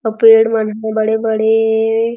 अउ पेड़ मन ह बड़े-बड़े--